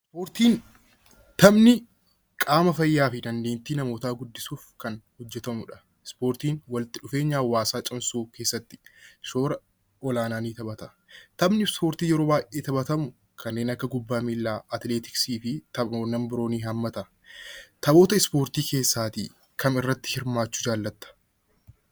Ispoortiin kan qaama namaa fi dandeettii namootaa guddisuuf kan hojjetamudha. Ispoortiin walitti dhufeenya hawaasaa cimsuu keessatti shoora olaanaa qaba. Taphni Ispoortii yeroo baay'ee taphatamu kanneen akka kubbaa miillaa, atileetiksii fi taphawwan biroo ni haammata. Taphoota ispoortii keessaatii kam irratti hirmaachuu jaallatta?